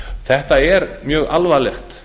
þetta er mjög alvarlegt